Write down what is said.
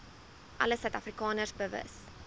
alle suidafrikaners bewus